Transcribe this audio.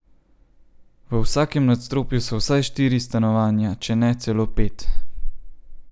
V vsakem nadstropju so vsaj štiri stanovanja, če ne celo pet.